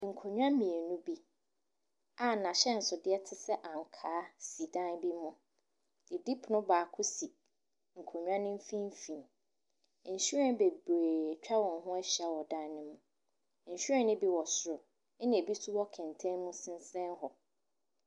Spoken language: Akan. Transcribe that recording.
Nkonnwa mmienu bi a n'ahyɛnsodeɛ te sɛ ankaa si dan bi mu. Didipono baako si nkonnwa no mfimfin. Nhwiren bebree atwa wɔn ho ahyia wɔ dan no mu. Nhwiren no bi wɔ soro, ɛnna ebi nso wɔ kɛntɛn mu sensɛn hɔ.